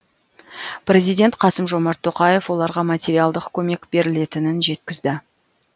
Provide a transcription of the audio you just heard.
президент қасым жомарт тоқаев оларға материалдық көмек берілетінін жеткізді